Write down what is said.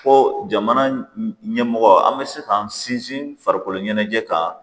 Ko jamana ɲɛmɔgɔ an bɛ se k'an sinsin farikolo ɲɛnajɛ kan